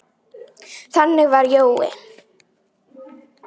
Þannig var Jói.